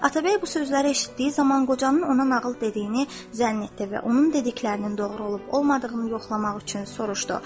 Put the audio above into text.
Atabəy bu sözləri eşitdiyi zaman qocanın ona nağıl dediyini zənn etdi və onun dediklərinin doğru olub-olmadığını yoxlamaq üçün soruşdu.